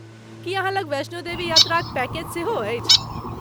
की अहाँ लग वैष्णो देवी यात्राक पैकेज सेहो अछि?